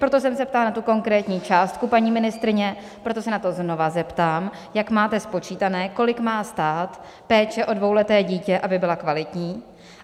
Proto jsem se ptala na tu konkrétní částku paní ministryně, proto se na to znovu zeptám - jak máte spočítané, kolik má stát péče o dvouleté dítě, aby byla kvalitní.